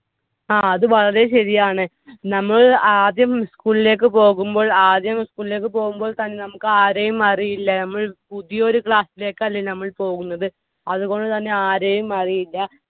ആ അത് വളരെ ശരിയാണ്. നമ്മൾ ആദ്യം school ലേക്ക് പോകുമ്പോൾ ആദ്യം school ലേക്ക് പോകുമ്പോൾ തന്നെ നമുക്ക് ആരെയും അറിയില്ല. നമ്മൾ പുതിയ ഒരു class ലേക്ക് അല്ലെ നമ്മൾ പോകുന്നത്. അതുകൊണ്ടുതന്നെ ആരെയും അറിയില്ല.